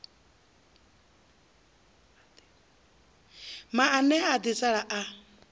maanea a ḓi sala a